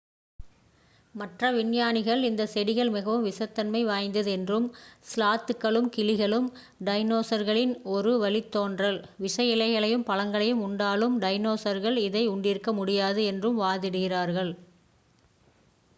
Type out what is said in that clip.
மற்ற விஞ்ஞானிகள் இந்த செடிகள் மிகவும் விஷத்தன்மை வாய்ந்தவை என்றும் ஸ்லாத்துக்களும் கிளிகளும் டைனோஸர்களின் ஒரு வழித்தோன்றல் விஷ இலைகளையும் பழங்களையும் உண்டாலும் டைனோஸர்கள் இதை உண்டிருக்க முடியாது என்றும் வாதிடுகிறார்கள்